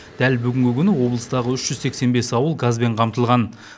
дәл бүгінгі күні облыстағы үш жүз сексен бес ауыл газбен қамтылған